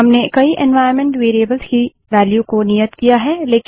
हमने कई environment variables की वेल्यू को नियत किया है